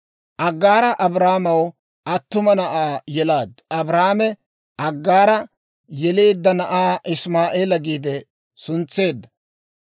Aggaara Abraamaw attuma na'aa yelaaddu; Abraame Aggaara yeleedda na'aa Isimaa'eela giide suntseedda.